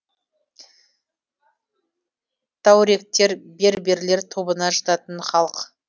таурегтер берберлер тобына жататын халық